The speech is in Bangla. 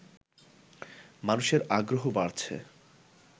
মানুষের আগ্রহ বাড়ছে